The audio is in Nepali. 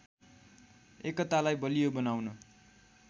एकतालाई बलियो बनाउन